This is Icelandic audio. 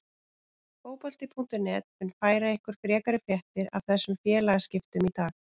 Fótbolti.net mun færa ykkur frekari fréttir af þessum félagaskiptum í dag.